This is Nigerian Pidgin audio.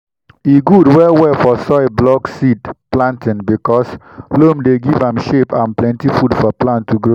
e good well well for soil block seed planting because loam dey give am shape and plenty food for plant to grow.